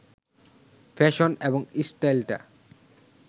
fashion এবং স্টাইলটা